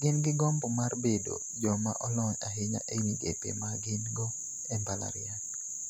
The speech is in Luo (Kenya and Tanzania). gin gi gombo mar bedo joma olony ahinya e migepe ma gin-go e mbalarieny.